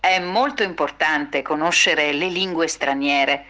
мультфильм